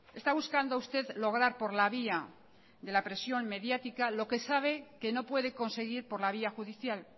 está buscando usted lograr por la vía de la presión mediática lo que sabe que no puede conseguir por la vía judicial